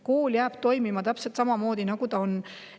Kool jääb toimima täpselt samamoodi, nagu ta praegu on.